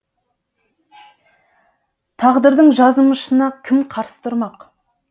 тағдырдың жазымышына кім қарсы тұрмақ